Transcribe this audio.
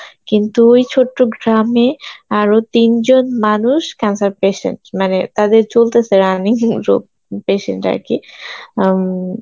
কিন্তু ওই ছোট্ট গ্রামে আরো তিনজন মানুষ cancer patient, মানে তাদের চলতেসে patient আর কি অ্যাঁ উম